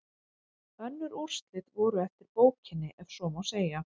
Önnur úrslit voru eftir bókinni ef svo má segja.